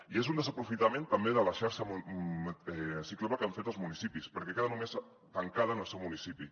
i és un desaprofitament també de la xarxa ciclable que han fet els municipis perquè queda només tancada en el seu municipi